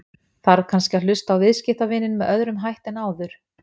Þarf kannski að hlusta á viðskiptavininn með öðrum hætti en áður?